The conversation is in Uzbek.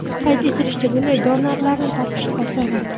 Qayd etilishicha, bunday donorlarni topish osonroq.